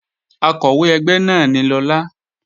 Akọ̀wé ẹgbẹ́ náà ni Lọlá